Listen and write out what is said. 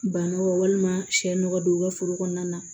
Banaw walima sɛ nɔgɔ don u ka foro kɔnɔna na